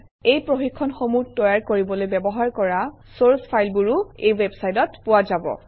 এই প্ৰশিক্ষণসমূহ তৈয়াৰ কৰিবলৈ ব্যৱহাৰ কৰা চৰ্চ ফাইলবোৰো এই ৱেবচাইটত পোৱা যাব